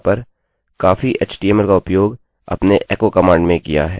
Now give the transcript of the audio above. मैंने यहाँ पर काफी htmlएचटीएमएल का उपयोग अपनी echoएको कमांड में किया है